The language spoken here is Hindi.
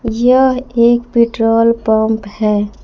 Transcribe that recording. यह एक पेट्रोल पंप है।